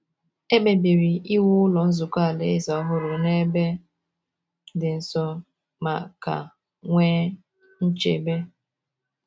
E kpebiri iwu Ụlọ Nzukọ Alaeze ọhụrụ n’ebe dị nso ma ka nwee nchebe.